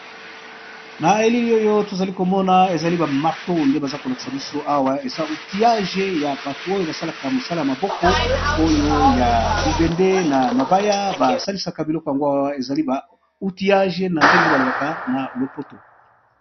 Na elili oyotozokomona eza ba marteau ndebaza kolakisa biso awa eza outillage yabato oyo basala na mosaka ya maboko oyo ya libende na mabaya basalisaka biloko yango eza outillage nandenge balobaka na monoko ya lopoto.